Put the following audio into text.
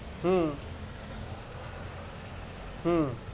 হম হম